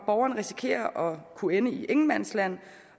borgeren risikerer at kunne ende i et ingenmandsland